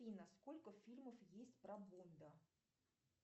афина сколько фильмов есть про бонда